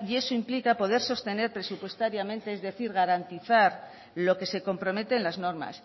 y eso implica poder sostener presupuestariamente es decir garantizar lo que se compromete en las normas